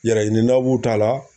Yɛrɛɲini na b'u ta la